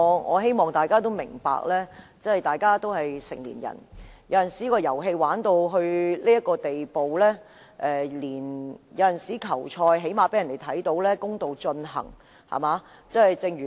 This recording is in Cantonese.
我希望大家明白，大家都是成年人，有時候玩遊戲玩到這個地步，最少也要讓人看到球賽是公道地進行的，對嗎？